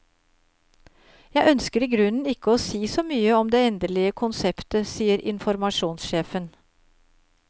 Jeg ønsker i grunnen ikke å si så mye om det endelige konseptet, sier informasjonssjefen.